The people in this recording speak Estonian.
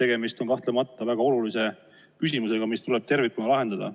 Tegemist on kahtlemata väga olulise küsimusega, mis tuleb tervikuna lahendada.